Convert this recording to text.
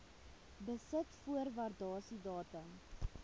besit voor waardasiedatum